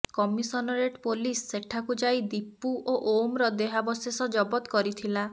commissionerate police ସେଠାକୁ ଯାଇ ଦୀପୁ ଓ ଓମର ଦେହାବିଶେଷ ଜବତ କରିଥିଲା